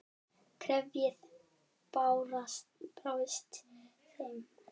Kerfið brást þeim.